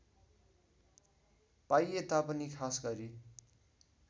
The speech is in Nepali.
पाइए तापनि खासगरी